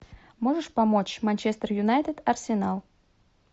можешь помочь манчестер юнайтед арсенал